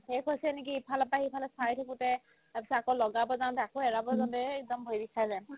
শেষ হৈছে নেকি ইফালৰ পাই সিফালে চাই থাকোতে তাৰপিছত আকৌ লগাব যাওতে আকৌ এৰাব যাওতে সেই একদম হেৰি খাই যায়